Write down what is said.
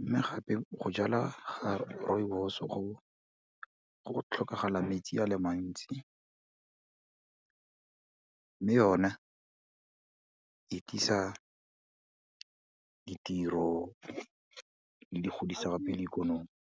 mme gape go jala ga rooibos go tlhokagala metsi a le mantsi, mme yona e tlisa ditiro le go godisa gape le ikonomi.